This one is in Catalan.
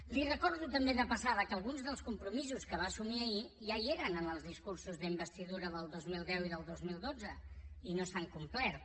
li recordo també de passada que alguns dels compromisos que va assumir ahir ja hi eren en els discursos d’investidura del dos mil deu i del dos mil dotze i no s’han complert